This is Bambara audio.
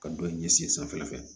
Ka dɔ in ɲɛsin sanfɛla fɛ